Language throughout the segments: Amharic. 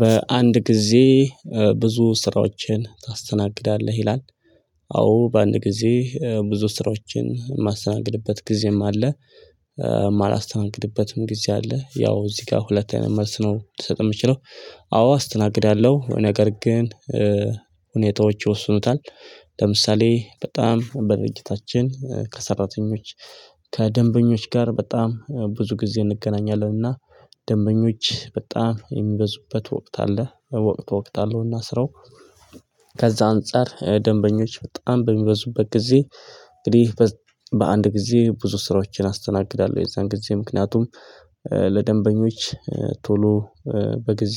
በአንድ ጊዜ ብዙ ስራዎችን ታስተናግዳለህ ይላል? አዎ በአንድ ጊዜ ብዙ ስራዎችን የማስተናግድበት ጊዜም አለ። የማላስተናግድበትም ጊዜ አለ ያው እዚህ ጋር ሁለት መልስ ነው ልሰጥ የምችለው። አዎ አስተናግዳለሁ ነገር ግን ሁኔታዎች ይወስኑታል። ለምሳሌ በጣም በድርጅታችን ከሰራተኞች ከደንበኞች ጋር በጣም ብዙ ጊዜ እንገናኛለንና ደንበኞች በጣም የሚበዙበት ወቅት አለ። በወቅት ወቅት አለው ስረው። ከዛ አንፃር ደንበኞች በጣም በሚበዙበት ጊዜ እንግዲህ በአንድ ጊዜ ብዙ ስራዎችን አስተናግዳለሁ። የዛን ጊዜ ምክንያቱም ለደንበኞች ቶሎ በጊዜ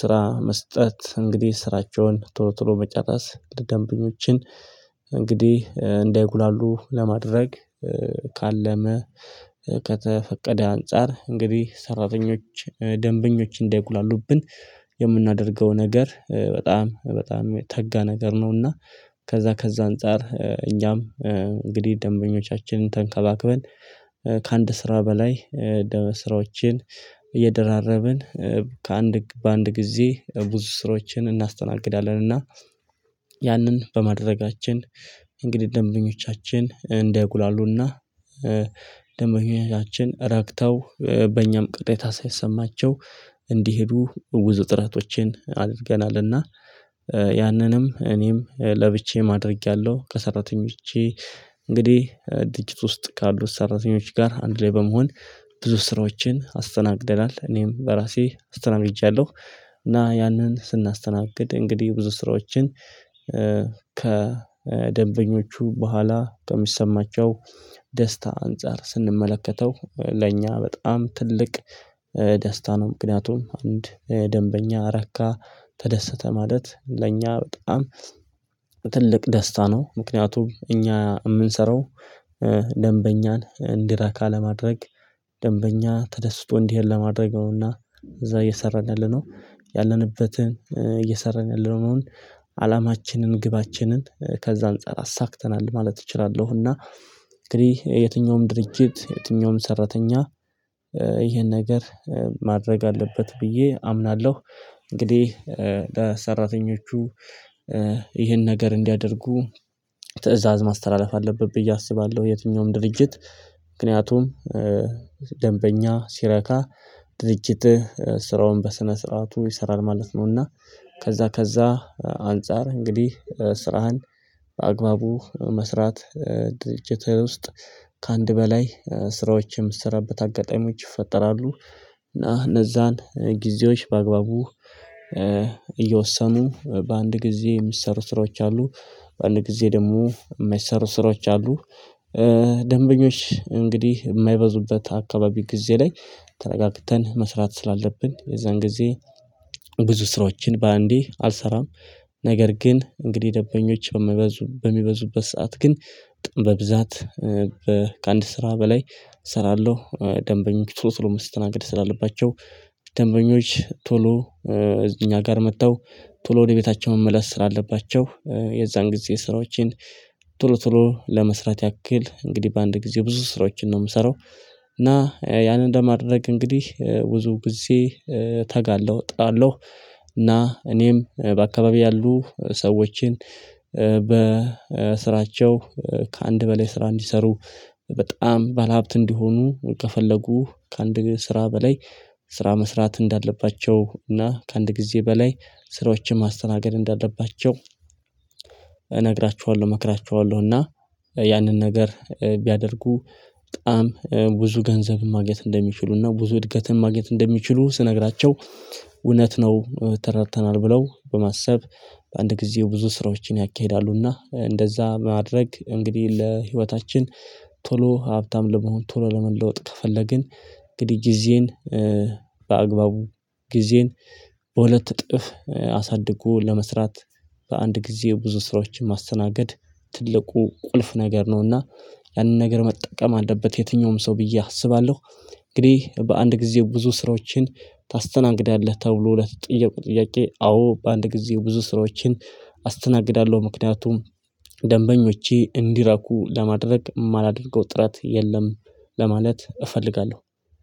ስራ መስጠት እንግዲህ ስራቸውን ቶሎ ቶሎ መጫረስ ደንበኞችን እንግዲህ እንዳይጉላሉ ለማድረግ ካለመ ከተፈቀደ አንፃር እንግዲህ ሰራተኞች ደንበኞች እንዳይጉላሉብን የምናደርገው ነገር በጣም በጣም የተጋ ነገር ነውና። ከዛ ከዛ አንፃር እኛም እንግዲህ ደንበኞቻችንን ተንከላክበን ከአንድ ስራ በላይ ስራዎችን እየደራረብን ከአንድ በአንድ ጊዜ ብዙ ስራዎችን እናስተናግዳለንና። ያንን በማድረጋችን እንግዲህ ደንበኞቻችን እንደይጉላሉና ደንመኛችን ራክተው በእኛም ቅረት ሳይሰማቸው እንዲሄዱ ብዙ ጥረቶችን ጥረቶቼን አድርገናልና። ያንንም እኔም ለብቼም አድርጌያለሁ ከሰራተኞቼ እንግዲህ ድርጅት ውስጥ ካሉት ሰራተኞች ጋር አንድ ላይ በመሆን ብዙ ስራዎችን አስተናግደናል እኔም በራሴ አስተናግድቻለሁ። እና ያንን ስናስተናግድ እንግዲህ ብዙ ስራዎችን ከደንበኞቹ በኋላ ከሚሰማቸው ደስታ አንፃር ስንመለከተው ለእኛ በጣም ትልቅ ደስታ ነው። ምክንያቱም አንድ ደንበኛ ረካ ተደሰተ ማለት ለእኛ በጣም ትልቅ ደስታ ነው። ምክንያቱም እኛ ምንሰራው ደንበኛን እንዲራካ ለማድረግ ደንበኛ ተደስቶ እንዲሄድ ለማድረግ ነውና። እዛ እየሰራን ያለነው ያለንበትን እየሰራን ያለነው ነው። አላማችንን ግባችንን ከዛ አንፃር አሳክተናል ማለት እችላለሁና። እንግዲህ የትኛውም ድርጅት የትኛውም ሰራተኛ ይሄን ነገር ማድረግ አለበት ብዬ አምናለሁ። እንግዲህ ለሰራተኞቹ ይህን ነገር እንዲያደርጉ ትእዛዝ ማስተላለፍ አለብኝ ብዬ አስባለሁ። የትኛውም ድርጅት ምክንያቱም ደንበኛ ሲረካ ድርጅት ስራውን በስነ ስርዓቱ ይሰራል ማለት ነውና። ከዛ ከዛ አንፃር እንግዲህ ስራህን በአግባቡ መስራት ድርጅት ውስጥ ከአንድ በላይ ስራዎችን ምስረብት አጋጣሚዎች ይፈጠራሉ። እና እነዛን ጊዜዎች በአግባቡ እየወሰኑ በአንድ ጊዜ የሚሰሩ ስራዎች አሉ። በአንድ ጊዜ ደግሞ የማይሰሩ ስራዎች አሉ። ደንበኞች እንግዲህ የማይበዙበት አካባቢ ጊዜ ላይ ተረጋግተን መስራት ስላለብን የዛን ጊዜ ብዙ ስራዎችን በአንዴ አልሰራም። ነገር ግን እንግዲህ ደበኞች በሚበዙበት ሰዓት ግን በብዛት ከአንድ ስራ በላይ እሰራለሁ። ደንበኞች ቶሎ ቶሎ መስተናገድ ስላለባቸው ደንበኞች ቶሎ እዚህ እኛ ጋር መጥተው ብሎ ወደ ቤታቸው መመለስ ስላለባቸው የዛን ጊዜ ስራዎችን ብሎ ብሎ ለመስራት ያክል እንግዲህ በአንድ ጊዜ ብዙ ስራዎችን ነው የምሰራው። እና ያንን እንደማድረግ እንግዲህ ብዙ ጊዜ ተጋለሁ እጥላለሁ። እና እኔም በአካባቢው ያሉ ሰዎችን በስራቸው ከአንድ በላይ ስራ እንዲሰሩ በጣም ባለሀብት እንዲሆኑ ከፈለጉ ከአንድ ስራ በላይ ስራ መስራት እንዳለባቸው እና ከአንድ ጊዜ በላይ ስራዎችን ማስተናገድ እንዳለባቸው። እነግራችኋለሁ እመክራችኋለሁ እና ያንን ነገር ቢያደርጉ በጣም ብዙ ገንዘብም ማግኘት እንደሚችሉና ብዙ እድገትም ማግኘት እንደሚችሉ ስነግራቸው እውነት ነው ተረድተናል ብለው በማሰብ በአንድ ጊዜ ብዙ ስራዎችን ያካሂዳሉና። እንደዛ ማድረግ እንግዲህ ለህይወታችን ቶሎ ሀብታም ለመሆን ቶሎ ለመለወጥ ከፈለግን። እንግዲ ጊዜን በአግባቡ ጊዜን በሁለት እጥፍ አሳድጎ ለመስራት በአንድ ጊዜ ብዙ ስራዎችን ማስተናገድ ትልቁ ቁልፍ ነገር ነውና። ያንን ነገር መጠቀም አለበት የትኛውም ሰው ብዬ አስባለሁ። እንግዲህ በአንድ ጊዜ ብዙ ስራዎችን ታስተናግዳለህ ተብሎ ለተጠየቁ ጥያቄ አዎ በአንድ ጊዜ ብዙ ስራዎችን አስተናግዳለሁ ምክንያቱም ደንበኞቼ እንዲራኩ ለማድረግ የማላደንቀው ጥረት የለም። ለማለት እፈልጋለሁ።